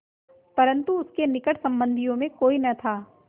परन्तु उसके निकट संबंधियों में कोई न था